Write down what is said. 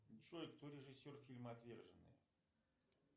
джой кто режиссер фильма отверженные